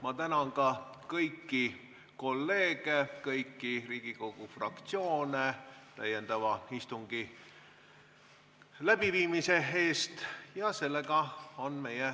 Ma tänan ka kõiki kolleege, kõiki Riigikogu fraktsioone täiendava istungi läbiviimise eest!